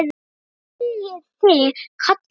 Hvað viljiði kalla mig?